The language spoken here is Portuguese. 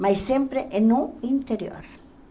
Mas sempre no interior.